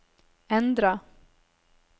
endra